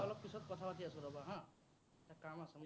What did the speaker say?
মই অলপ পিছত কথা পাতি আছো, ৰ'বা হা। কাম আছে।